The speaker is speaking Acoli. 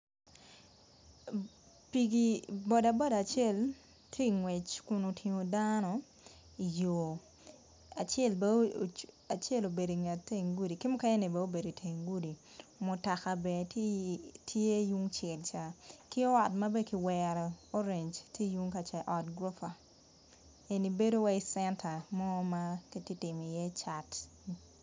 Piki bodaboda acel tye ngwec kun otingo dano acel obeo inget teng gudi ki mukene ni bene obedo i teng gudi mutoka bene tye yung cel ca ki ot ma bene ki wero orange tye yung ka cat ot duka en bedo wai centre more ma kitimo i ye cat.